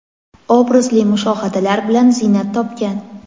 obrazli mushohadalar bilan ziynat topgan.